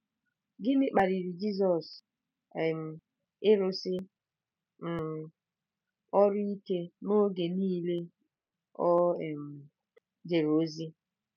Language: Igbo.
Gịnị kpaliri Jizọs um ịrụsi um ọrụ ike n’oge niile o um jere ozi?